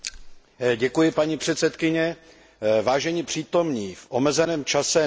Vážení přítomní, v omezeném čase není možné se věnovat celému tzv.